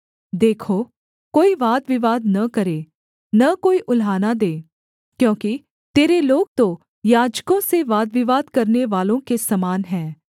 देखो कोई वादविवाद न करे न कोई उलाहना दे क्योंकि तेरे लोग तो याजकों से वादविवाद करनेवालों के समान हैं